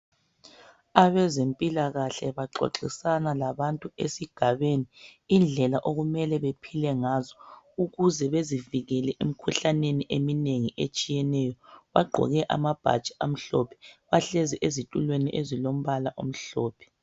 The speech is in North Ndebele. abezempilakahle baxoxisana labantu esigabeni indlela okumele bephile ngazo ukuze bezivikele emikhuhleneni emine etshiyeneyo bagqoke amabhatshi amhlophe bahlezi ezitulweni ezilombala omhlophe